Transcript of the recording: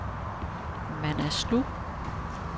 Manaslu